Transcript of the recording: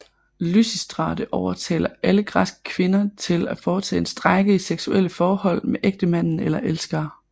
Lysistrate overtaler alle græske kvinder til at foretage en strejke i sexuelle forhold med ægtemænd eller elskere